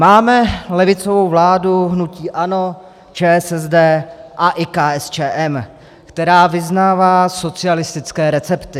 Máme levicovou vládu hnutí ANO, ČSSD a i KSČM, která vyznává socialistické recepty.